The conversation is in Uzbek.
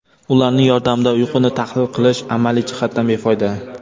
Ularning yordamida uyquni tahlil qilish amaliy jihatdan befoyda.